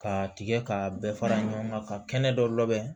K'a tigɛ k'a bɛɛ fara ɲɔgɔn kan ka kɛnɛ dɔ labɛn